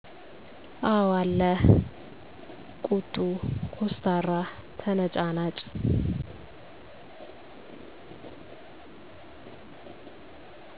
አው አለ ቁጡ፣ ኮስታራ፣ ተነጫናጭ